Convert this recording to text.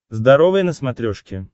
здоровое на смотрешке